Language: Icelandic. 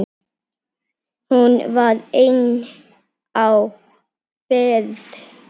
Hún var ein á ferð.